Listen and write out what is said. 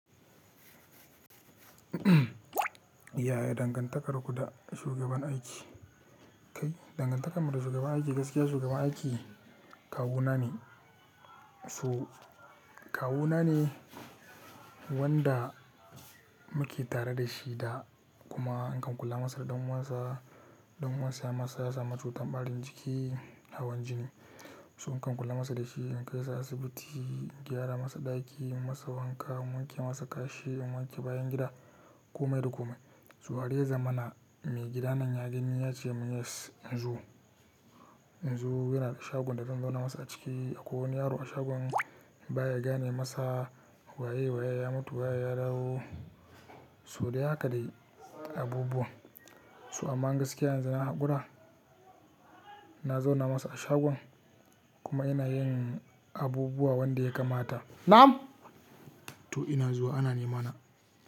Yaya dangantakarku da shugaban aiki? Kai, dangantakarmu da shugaban aiki gaskiya shugaban aiki kawuna ne. Su kawuna ne wanda muke tare da shi da kuma in kam kula masa da ɗan uwansa, ɗan uwansa ya masa ya samu cutar ɓarin jiki hawan jini. Su in kam kula masa da shi in kai sa asibiti, in gyara masa ɗaki, in masa wanka, in wanke masa kashi, in wanke bayan gida, kome da kome. So a reza mana mai gidanan ya gani yes ce mun "yes" yanzu. Yanzu yana da shagon da zan zauna masa a ciki akwai wani yaro a shagon baya gane masa waye waye ya mutu waye ya dawo. So dai haka dai abubuwa. To amma gaskiya yanzu na hakura, na zauna masa a shagon kuma ina yin abubuwa wanda ya kamata. Na'am! To ina zuwa ana ni mana.